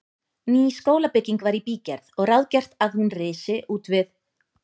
Ný skólabygging var í bígerð og ráðgert að hún risi útvið